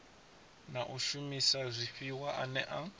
na u shumisa zwifhiwa ane